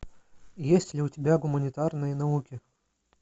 есть ли у тебя гуманитарные науки